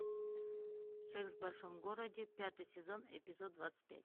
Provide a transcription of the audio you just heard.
секс в большом городе пятый сезон эпизод двадцать пять